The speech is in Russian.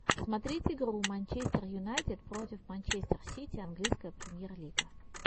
смотреть игру манчестер юнайтед против манчестер сити английская премьер лига